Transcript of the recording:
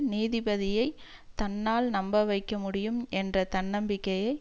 நீதிபதியைத் தன்னால் நம்பவைக்கமுடியும் என்ற தன்னம்பிக்கையை